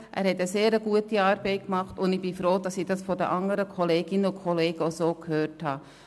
Er hat sehr gute Arbeit geleistet, und ich bin froh, dies von den anderen Kolleginnen und Kollegen auch so gehört zu haben.